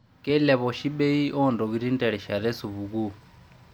Keilep oshi bei oo ntokitin terishata e supukuu.